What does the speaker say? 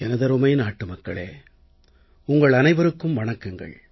எனதருமை நாட்டுமக்களே உங்கள் அனைவருக்கும் வணக்கங்கள்